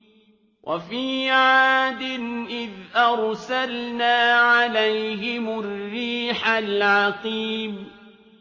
وَفِي عَادٍ إِذْ أَرْسَلْنَا عَلَيْهِمُ الرِّيحَ الْعَقِيمَ